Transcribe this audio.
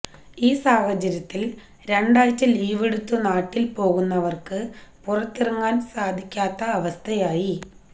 ഈ സാഹചര്യത്തിൽ രണ്ടാഴ്ച ലീവെടുത്തു നാട്ടിൽ പോകുന്നവർക്ക് പുറത്തിറങ്ങാൻ സാധികാത്ത അവസ്ഥയായി